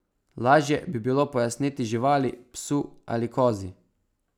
Lažje bi bilo pojasniti živali, psu ali kozi.